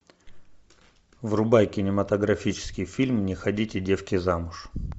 врубай кинематографический фильм не ходите девки замуж